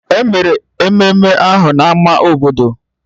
Emere ememme ahụ na ama obodo